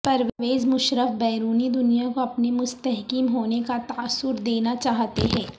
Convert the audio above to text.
پرویز مشرف بیرونی دنیا کو اپنے مستحکم ہونے کا تاثر دینا چاہتے ہیں